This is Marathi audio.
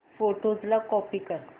फोटोझ ला कॉपी कर